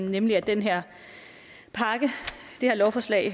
nemlig at den her pakke det her lovforslag